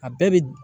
A bɛɛ bi